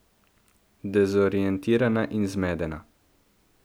Dezorientirana in zmedena.